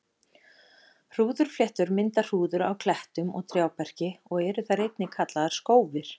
Hrúðurfléttur mynda hrúður á klettum og trjáberki og eru þær einnig kallaðar skófir.